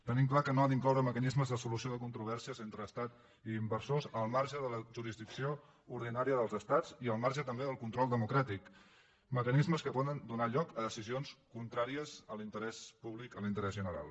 tenim clar que no ha d’incloure mecanismes de solució de controvèrsies entre estat i inversors al marge de la jurisdicció ordinària dels estats i al marge també del control democràtic mecanismes que poden donar lloc a decisions contràries a l’interès públic a l’interès general